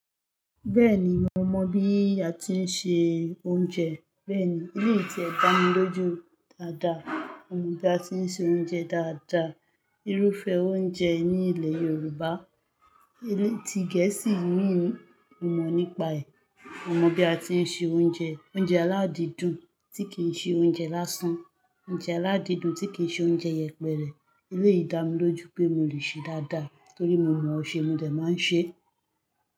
Bẹ́ẹ̀ni, mo mọ̀ bí a tí ń se oúnjẹ. Bẹ́ẹ̀ni, elé ti e dà mi lójú dáadáa, mo mọ̀ bí a ti ń se oúnjẹ dáadáa. Irúfẹ́ oúnjẹ ní ilẹ̀ Yorùbá, elé ti Gẹ̀ẹ́sì imí, mo mọ̀ nípa ẹ̀. Mo mọ̀ bí a ti ń se oúnjẹ, oúnjẹ aládìídùn tí kì í ṣe oúnjẹ lásán, oúnjẹ aládìídùn tí kì í ṣe oúnjẹ yẹpẹrẹ. Eléyii da mi lójú pé mo le ṣe dáadáa torí mo mọ̀ ọ̀ ṣe mo dè máa ń ṣe.